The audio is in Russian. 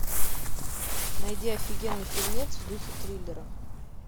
найди офигенный фильмец в духе триллера